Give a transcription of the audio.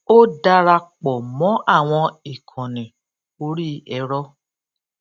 ó dara pò mó àwọn ìkànnì orí ẹrọ